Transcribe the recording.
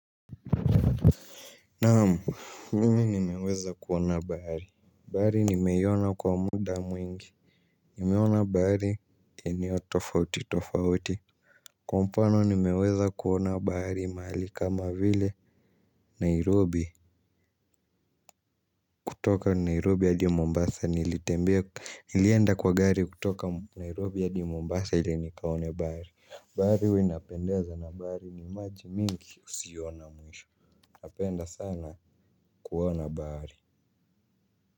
Naamu, mimi nimeweza kuona bari Bari nimeona kwa munda mwingi. Nimeona bahari eneo tofauti tofauti. Kwa mfano nimeweza kuona bahari mahali kama vile Nairobi. Kutoka Nairobi hadi Mombasa nilitembea nilienda kwa gari kutoka Nairobi hadi Mombasa ili nikaone bahari. Bahari huwainapendeza na bahari ni maji mingi usio na mwisho. Napenda sana kuona bahari.